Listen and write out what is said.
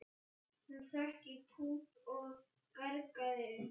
Hún hrökk í kút og gargaði upp.